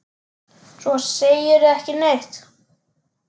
Svo segirðu ekki neitt.